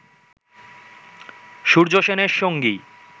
সূর্য সেনের সঙ্গী